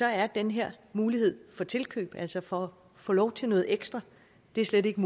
er den her mulighed for tilkøb altså for at få lov til noget ekstra der slet ikke